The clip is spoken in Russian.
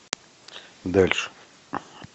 дальше